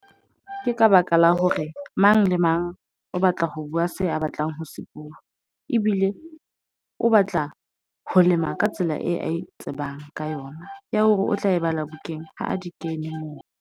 Ke ka baka la hore mang le mang o batla ho bua se a batlang ho se bua. Ebile o batla ho lema ka tsela eo ae tsebang ka yona. Ya hore o tla e bala bukeng, ha di kene moo.